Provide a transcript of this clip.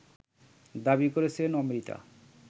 দাবি করেছেন অমৃতা